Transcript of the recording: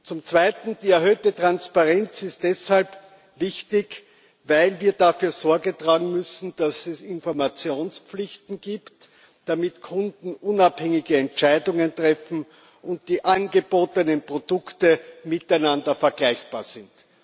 Zum Zweiten Die erhöhte Transparenz ist deshalb wichtig, weil wir dafür Sorge tragen müssen, dass es Informationspflichten gibt, damit Kunden unabhängige Entscheidungen treffen und die angebotenen Produkte miteinander vergleichbar sind.